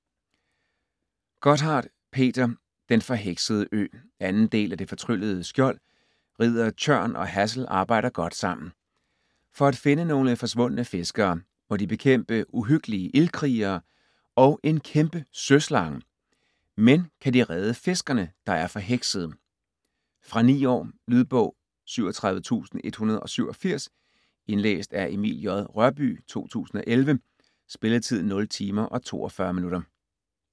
Gotthardt, Peter: Den forheksede ø 2. del af Det fortryllede skjold. Ridder Tjørn og Hassel arbejder godt sammen. For at finde nogle forsvundne fiskere, må de bekæmpe uhyggelige ildkrigere og en kæmpe søslange. Men kan de redde fiskerne, der er forheksede? Fra 9 år. Lydbog 37167 Indlæst af Emil J. Rørbye, 2011. Spilletid: 0 timer, 42 minutter.